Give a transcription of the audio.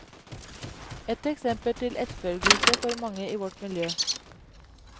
Et eksempel til etterfølgelse for mange i vårt miljø.